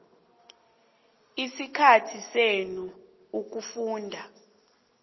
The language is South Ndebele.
isikhathi senu ukufunda